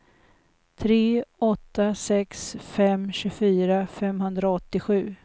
tre åtta sex fem tjugofyra femhundraåttiosju